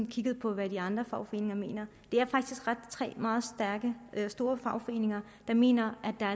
kigget på hvad de andre fagforeninger mener det er faktisk tre meget store fagforeninger der mener at der